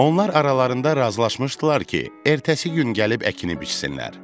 Onlar aralarında razılaşmışdılar ki, ertəsi gün gəlib əkini biçsinlər.